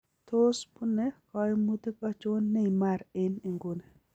Tos bune koimuutik achon Neymar en inguni.